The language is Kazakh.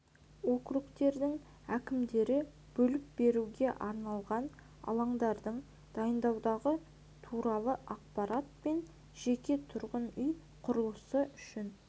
округтердің әкімдері бөліп беруге арналған алаңдардың дайындығы туралы ақпарат пен жеке тұрғын үй құрылысы үшін